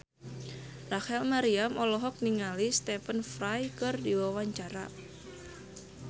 Rachel Maryam olohok ningali Stephen Fry keur diwawancara